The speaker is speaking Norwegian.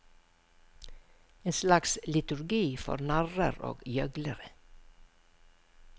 En slags liturgi for narrer og gjøglere.